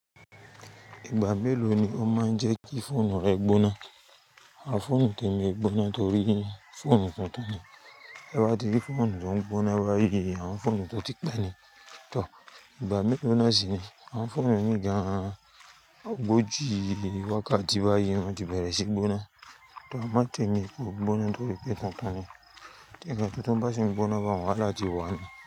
Ìgbà mélòó ni ó máa ń jẹ́ kí fóònù rẹ gbóná? A fóònù tèmi o gbóná torí fóònù tuntun ni. Te wá ti rí fóònù tó ń gbóná báyìí, àwọn fóònù tó ti pe ni. Tòr, ìgbà mélòó náà sì ni àwọn fóònù ení gan an, ògoòjí wákàtí báyìí wọ́n ti bẹ̀rẹ̀ sí gbóná. Tòr, a mo tèmi kò gbóná torí pé tuntun ni. Tí ńkán tutun bá sìn gbóná bá wọn wáhala ti wá ni.